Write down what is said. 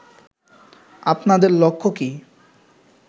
আপনাদের লক্ষ্য কী